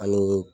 Ani